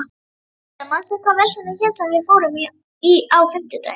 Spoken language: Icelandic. Tindar, manstu hvað verslunin hét sem við fórum í á fimmtudaginn?